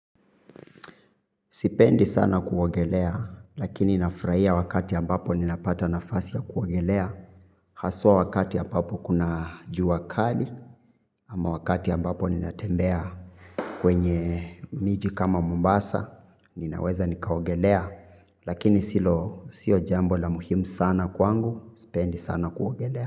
Sipendi sana kuogelea, lakini nafurahia wakati ambapo ninapata nafasi ya kuogelea. Haswa wakati ambapo kuna juu kali, ama wakati ambapo ninatembea kwenye miji kama Mombasa, ninaweza nikaogelea. Lakini sio jambo la muhimu sana kwangu, sipendi sana kuogelea.